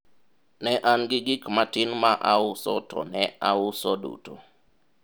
ne an gi gik matin ma auso to ne auso duto